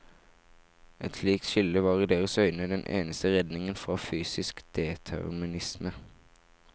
Et slikt skille var i deres øyne den eneste redningen fra fysisk determinisme.